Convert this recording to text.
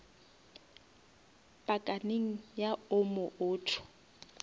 pakaneng ya omo auto